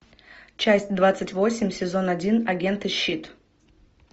часть двадцать восемь сезон один агенты щит